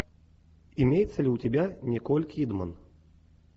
имеется ли у тебя николь кидман